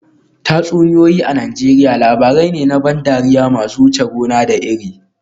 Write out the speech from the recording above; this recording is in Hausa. Tatsuniyoyi a Najeriya labarai ne na ban dariya masu wuce gona da iri